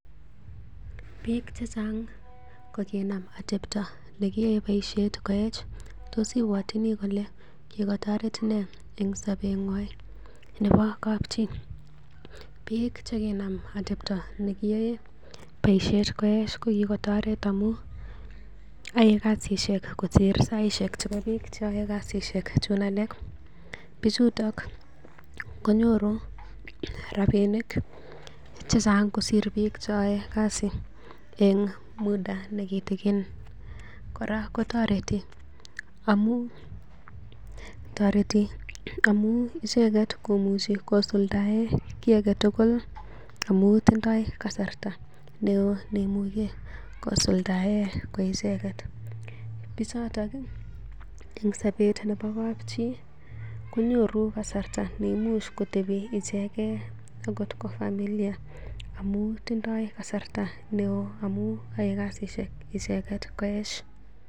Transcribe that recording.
Biik chechang kokinam atepto nekiyae boisiet koech. Tos ibwatini kole kikotoret nee eng sobengwai nebo kapchi? Biik che kinam atepto nekiyoe boisiet koech ko kigotoret amun yoe kasishek kosir saishek chebo biik chon yoe kasisiek chun alak. Biichuto konyoru rabinik che chang kosir biik chon yoe kasit en muda nekitikin. Kora kotoreti amun icheget komuchi kosuldaen kiy age tugul amun tindo kasarta neo neimuche kosuldaen koicheget, bichoto en sobet nebo kapchii konyoru kasarta neimuch kotebi icheget agot ko familia amun tindoi kasarta neo, amun yoe kasishek icheget koech.